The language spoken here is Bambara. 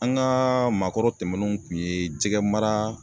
An ŋaa maakɔrɔ tɛmɛnenw kun ye jɛgɛmara